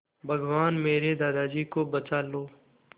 भगवान मेरे दादाजी को बचा लो